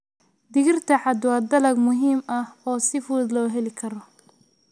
Digirta cad waa dalag muhiim ah oo si fudud loo heli karo.